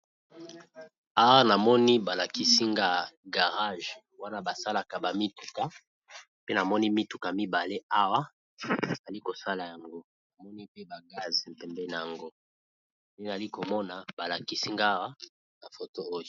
aa namoni balakisingay garage wana basalaka bamituka pe namoni mituka mibale awa zali kosala yango namoni pe ba gaze mpembe na yango ndenezali komona balakisingaawa na foto oi